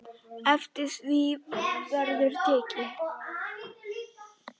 Eftir því verður tekið.